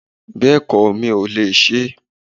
Bẹ́ẹ̀kọ́, mi ò lè sé